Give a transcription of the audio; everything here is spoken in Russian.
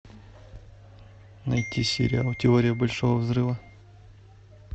найти сериал теория большого взрыва